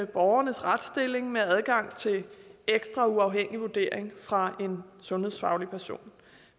borgernes retsstilling med adgang til en ekstra uafhængig vurdering fra en sundhedsfaglig person